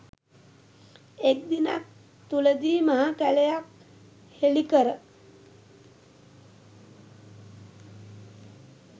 එක් දිනක් තුලදී මහ කැලයක් හෙලිකර